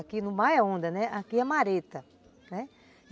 Que no mar é onda, aqui é mareta, né.